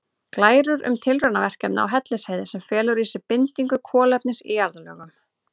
Glærur um tilraunaverkefni á Hellisheiði sem felur í sér bindingu kolefnis í jarðlögum.